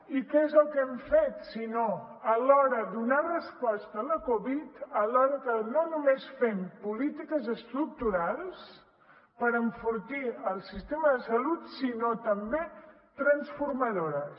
i què és el que hem fet si no alhora donar resposta a la covid alhora que no només fem polítiques estructurals per enfortir el sistema de salut sinó també transformadores